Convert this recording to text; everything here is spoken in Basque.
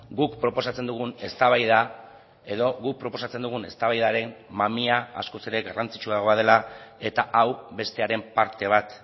guk proposatzen dugun eztabaida edo guk proposatzen dugun eztabaidaren mamia askoz ere garrantzitsuagoa dela eta hau bestearen parte bat